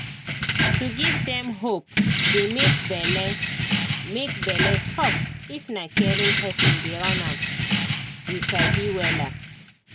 to give dem hope dey make bele make bele soft if na caring person dey run am you sabi wella